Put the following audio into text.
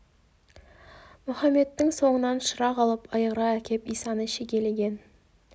мұхаммедтің соңынан шырақ алып айырға әкеп исаны шегелеген